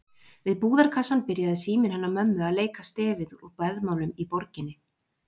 Við búðarkassann byrjaði síminn hennar mömmu að leika stefið úr Beðmálum úr borginni.